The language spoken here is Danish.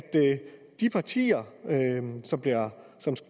de partier som